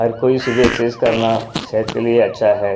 हर कोई सुबह एक्सरसाइज करना सेहत के लिए अच्छा है।